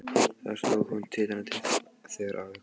Þar stóð hún titrandi þegar afi kom.